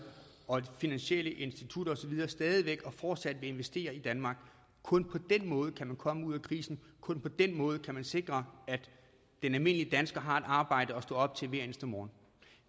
og finansielle institutter og så videre stadig væk og fortsat vil investere i danmark kun på den måde kan man komme ud af krisen kun på den måde kan man sikre at den almindelige dansker har et arbejde at stå op til hver eneste morgen